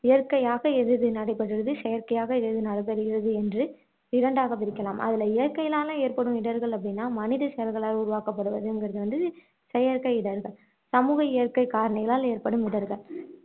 இயற்கையாக எது எது நடைபெறுகிறது செயற்கையாக எது எது நடைபெறுகிறது என்று இரடண்டாக பிரிக்கலாம் அதுல இயற்கையினால ஏற்படும் இடர்கள் அப்படின்னா மனித செயல்களால் உருவாக்கப்படுவதுங்குறது வந்து செயற்கை இடர்கள் சமூக இயற்கை காரணங்களால ஏற்படும் இடர்கள்